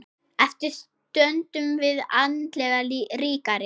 Eftir stöndum við andlega ríkari.